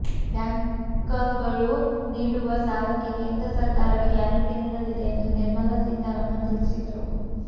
ಬ್ಯಾಂಕಗಳು ನೀಡುವ ಸಾಲಕ್ಕೆ ಕೇಂದ್ರ ಸರ್ಕಾರವೇ ಗ್ಯಾರಂಟಿ ನೀಡಲಿದೆ ಎಂದು ನಿರ್ಮಲಾ ಸೀತಾರಾಮನ್ ತಿಳಿಸಿದರು